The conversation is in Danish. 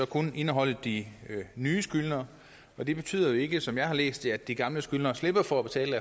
kun indeholde de nye skyldnere men det betyder jo ikke som jeg har læst det at de gamle skyldnere slipper for at betale